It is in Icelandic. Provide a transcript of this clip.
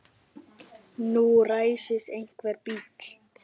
Nú ræsir einhver bíl.